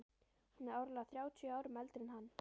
Hún er áreiðanlega þrjátíu árum eldri en hann!